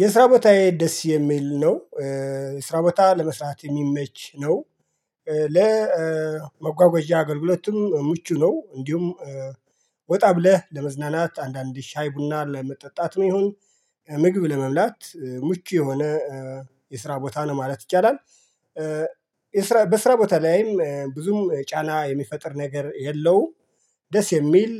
የስራ ቦታዬ ደስ የሚል ነው። የስራ ቦታ ለመስራት የሚመች ነው። ለመጓጓዣ አገልግሎትም ምቹ ነው እንዲሁም። ወጣ ብለህ ለመዝናናት አንዳንዴ ሻይ ቡና ለመጠጣትም ይሁን። ምግብ ለመብላት ምቹ የሆነ የስራ ቦታ ነው ማለት ይቻላል። በስራ ቦታ ላይም ብዙም ጫና የሚፈጥር ነገር የለውም። ደስ የሚል